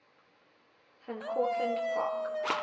van cortlandt park